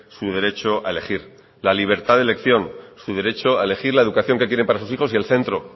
su derecho a elegir la libertad de elección su derecho a elegir la educación que quieren para sus hijos y el centro